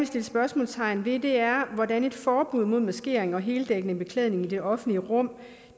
sætte spørgsmålstegn ved er hvordan et forbud mod maskering og heldækkende beklædning i det offentlige rum